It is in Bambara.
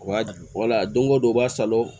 U b'a wala don o don u b'a sala